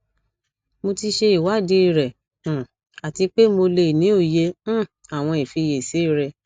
mo ti ṣe iwadii rẹ um ati pe mo le ni oye um awọn ifiyesi rẹ